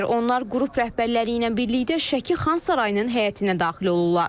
Onlar qrup rəhbərləri ilə birlikdə Şəki Xan Sarayının həyətinə daxil olurlar.